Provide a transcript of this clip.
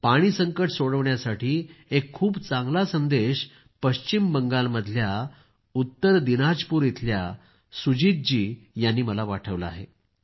पाणीसंकट सोडविण्यासाठी एक खूप चांगला संदेश पश्चिम बंगालमधल्या उत्तर दीनाजपूर इथल्या सुजीत जी यांनी मला पाठवला आहे